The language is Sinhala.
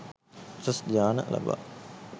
උසස් ධ්‍යාන ලබා